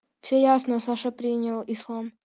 всё ясно саша принял ислам